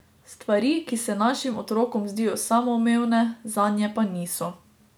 Stvari, ki se našim otrokom zdijo samoumevne, zanje pa niso ...